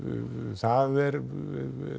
það er nú